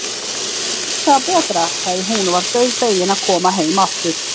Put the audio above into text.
Hafiði heyrt það betra, sagði hún og var dauðfegin að koma heim aftur.